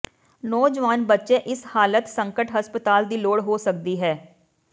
ਨੌਜਵਾਨ ਬੱਚੇ ਇਸ ਹਾਲਤ ਸੰਕਟ ਹਸਪਤਾਲ ਦੀ ਲੋੜ ਹੋ ਸਕਦੀ ਹੈ